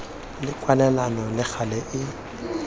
le kwalelano le gale e